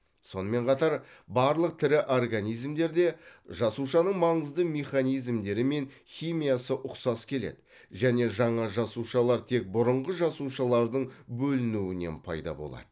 сонымен қатар барлық тірі организмдерде жасушаның маңызды механизмдері мен химиясы ұқсас келеді және жаңа жасушалар тек бұрынғы жасушалардың бөлуінуінен пайда болады